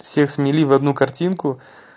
всех смели в одну картинку